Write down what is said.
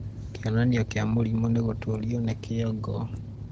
kĩonanio kĩa mũrimũ nĩ gũtũrũo nĩ kĩongo